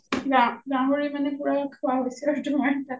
গাহৰি মানে পুৰা খোৱা হৈছে আৰু তোমাৰ তাত